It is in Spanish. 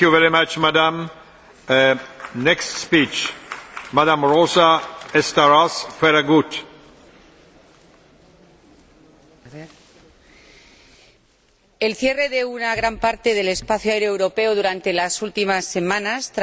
Señor Presidente, el cierre de una gran parte del espacio aéreo europeo durante las últimas semanas tras la erupción del volcán islandés ha provocado consecuencias graves para toda la economía europea